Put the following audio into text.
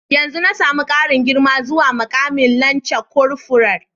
Yanzu na samu karin girma zuwa mukamin lance korfural.